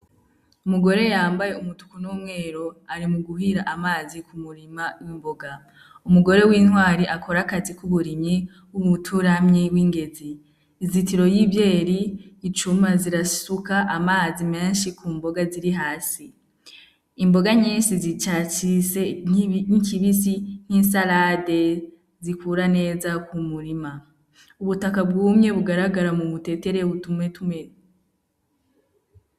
Umugore yambaye umutuku n’umweru ari muguhira amazi ku murima w’imboga. Umugore w’intwari akora akazi k’uburimyi, umuturamyi w’ingezi. Izitiro y’ivyeri icuma zirasuka amazi menshi ku mboga ziri hasi. Imboga nyinshi zicacitse nk’ikibisi, nki salade zikura neza kumurima. Ubutaka bwumye bugaragara mu butetere butumetume …